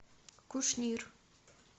кушнир